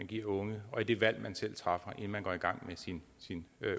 de unge og det valg man selv træffer inden man går i gang med sin